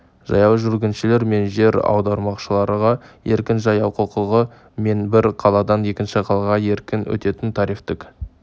жаяу жүргіншілер мен жер аударушыларға еркін жаяу құқығы мен бір қаладан екінші қалаға еркін өтетін тарифтік